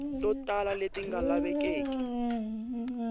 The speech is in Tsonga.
to tala leti nga lavekeki